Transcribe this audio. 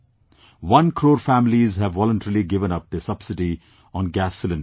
One crore families have voluntarily given up their subsidy on gas cylinders